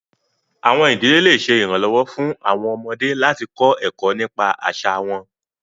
Awọn idile le ṣe iranlọwọ fun awọn ọmọde lati kọ ẹkọ nipa aṣa wọn